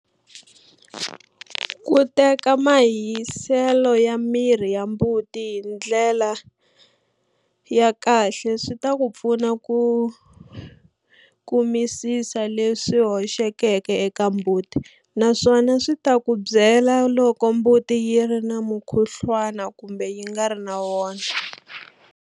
Ku teka mahiselo ya miri wa mbuti hi ndlela ya kahle swi ta ku pfuna ku kumisisa leswi hoxekeke eka mbuti naswona swi ta ku byela loko mbuti yi ri na mukhuhluwana kumbe yi nga ri na wona.